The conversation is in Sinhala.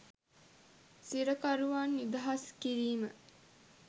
සිරකරුවන් නිදහස් කිරීම